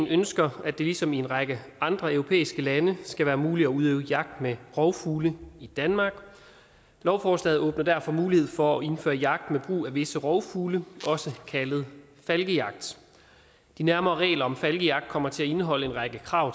ønsker at det ligesom i en række andre europæiske lande skal være muligt at udøve jagt med rovfugle i danmark lovforslaget åbner derfor mulighed for at indføre jagt med brug af visse rovfugle også kaldet falkejagt de nærmere regler om falkejagt kommer til at indeholde en række krav